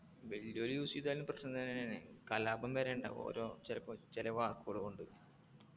വല്യവര് use ചെയ്താലും പ്രശ്നല്ല ഏർ കലാപം വരെ ഉണ്ടാകും ഓരോ ചെലപ്പോ ചേലെ വാക്കുകള് കൊണ്ട്